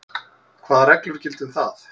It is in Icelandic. Hvað reglur gilda um það?